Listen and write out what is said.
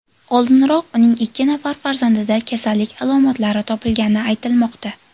Oldinroq uning ikki nafar farzandida kasallik alomatlari topilgani aytilmoqda.